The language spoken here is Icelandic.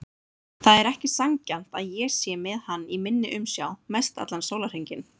Það er ekki sanngjarnt að ég sé með hann í minni umsjá mestallan sólarhringinn.